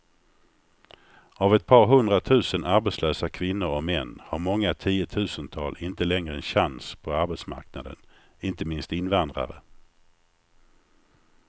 Av ett par hundratusen arbetslösa kvinnor och män har många tiotusental inte längre en chans på arbetsmarknaden, inte minst invandrare.